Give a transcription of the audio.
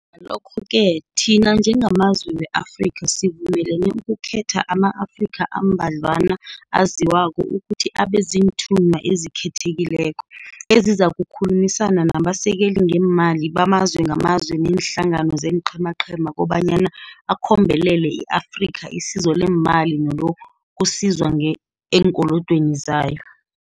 Ngalokho-ke thina njengamazwe we-Afrika sivumelene ukukhetha ama-Afrika ambadlwana aziwako ukuthi abe ziinthunywa ezikhethekileko, ezizakukhulumisana nabasekeli ngeemali bamazwe ngamazwe neenhlangano zeenqhemaqhema kobanyana akhombelele i-Afrika isizo leemali nelokusizwa eenkolodweni zayo.